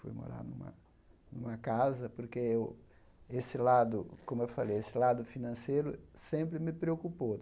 Fui morar numa numa casa porque eu esse lado, como eu falei, esse lado financeiro sempre me preocupou.